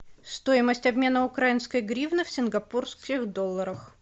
стоимость обмена украинской гривны в сингапурских долларах